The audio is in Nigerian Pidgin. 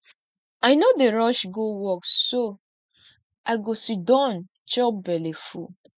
i no dey rush go work so i go siddon chop belle full